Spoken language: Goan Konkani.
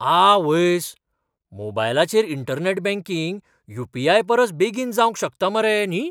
आवयस्स, मोबायलचेर इंटरनॅट बँकिंग यू. पी. आय.परसय बेगीन जावंक शकता मरे न्ही!